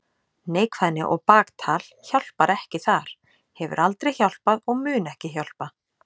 Neikvæðni og baktal hjálpar ekki þar, hefur aldrei hjálpað og mun ekki hjálpa.